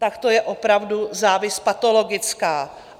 Tak to je opravdu závist patologická.